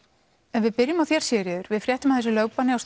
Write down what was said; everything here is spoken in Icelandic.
ef við byrjum á þér Sigríður við fréttum af þessu lögbanni á